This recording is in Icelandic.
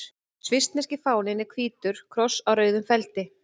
Svissneski fáninn er hvítur kross á rauðum feldi.